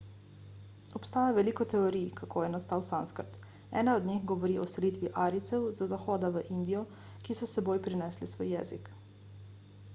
obstaja veliko teorij kako je nastal sanskrt ena od njih govori o selitvi arijcev z zahoda v indijo ki so s seboj prinesli svoj jezik